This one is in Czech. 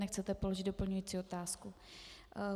Nechcete položit doplňující otázku.